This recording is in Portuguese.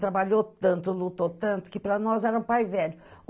Trabalhou tanto, lutou tanto, que para nós era um pai velho.